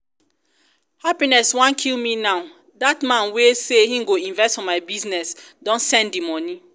happiness wan kill me now. that man wey um say e go invest for my business don send the money